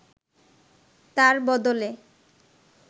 তার বদলে